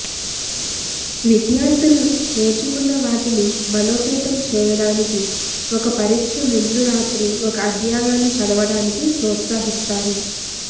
విద్యార్థులు నేర్చుకున్న వాటిని బలోపేతం చేయడానికి ఒక పరీక్ష ముందు రాత్రి ఒక అధ్యాయాన్ని చదవడానికి ప్రోత్సహిస్తారు